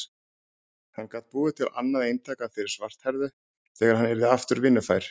Hann gat búið til annað eintak af þeirri svarthærðu þegar hann yrði aftur vinnufær.